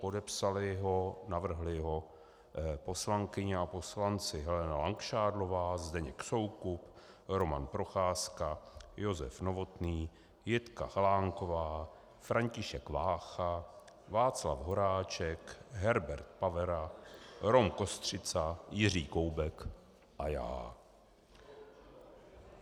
Podepsali ho, navrhli ho poslankyně a poslanci: Helena Langšádlová, Zdeněk Soukup, Roman Procházka, Josef Novotný, Jitka Chalánková, František Vácha, Václav Horáček, Herbert Pavera, Rom Kostřica, Jiří Koubek a já.